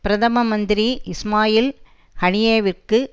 பிரதம மந்திரி இஸ்மாயில் ஹனியேவிற்கு